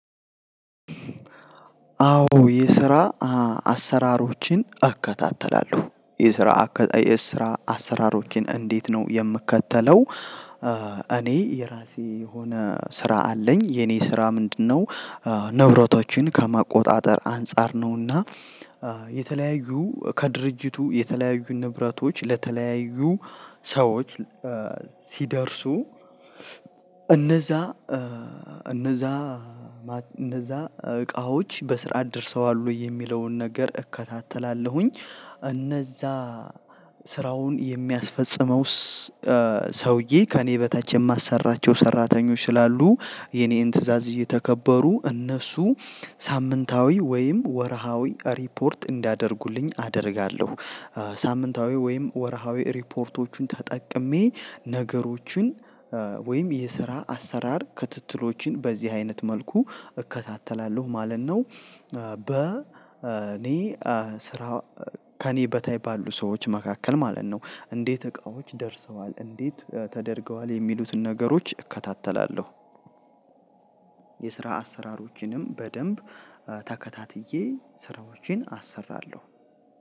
አዎ የስራ አሰራሮችን እከታተላለሁ የስራ አከታ የስራ አሰራሮችን እንዴት ነው የምክተለው? እኔ የራሴ የሆነ ስራ አለኝ የኔ ስራ ምንድነው? ንብረቶችን ከመቆጣጠር አንፃር ነውና የተለያዩ ከድርጅቱ የተለያዩ ንብረቶች ለተለያዩ ሰዎች ሲደርሱ እነዛ እነዛ እነዛ እቃዎች በስራ አድርሰዋል ወይ የሚለውን ነገር እከታተላለሁኝ። እነዛ ስራውን የሚያስፈጽመውስ ሰውዬ ከእኔ በታች የማሰራቸው ሰራተኞች ስላሉ የኔን ትእዛዝ እየተከበሩ እነሱ ሳምንታዊ ወይም ወርሃዊ ሪፖርት እንዲያደርጉልኝ አደርጋለሁ። ሳምንታዊ ወይም ወርሃዊ ሪፖርቶችን ተጠቅሜ ነገሮችን ወይም የስራ አሰራር ክትትሎች በዚህ አይነት መልኩ እከታተላለሁ ማለት ነው። በ እኔ ስራ ከእኔ በታይ ባሉ ሰዎች መካከል ማለት ነው እንዴት እቃዎች ደርሰዋል እንዴት ተደርገዋል የሚሉትን ነገሮች እከታተላለሁ። የስራ አሰራሮችንም በደንብ ተከታትዬ ስራዎችን አሰራለሁ።